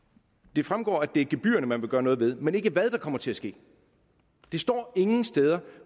det fremgår at det er gebyrerne man vil gøre noget ved men ikke hvad der kommer til at ske det står ingen steder